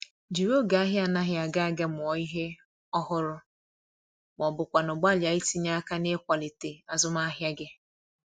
Jiri oge ahia anaghi aga aga mụọ ihe ọhụrụ ma ọ bụkwanụ gbalịa itinye aka n’ịkwalite azụmahịa gị